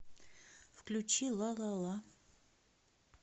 включи лалала